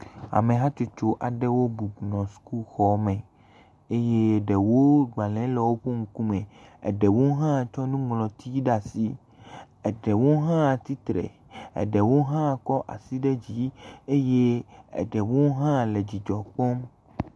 Ame hatsotso aɖewo bɔbɔ nɔ sukuxɔ me eye ɖewo gbalẽ le woƒe ŋkume, eɖewo hã tsɔ nuŋlɔti ɖe asi, ɖewo hã tsitre, eɖewo hã kɔ asi ɖe dzi eye eɖewo hã le dzidzɔ kpɔm.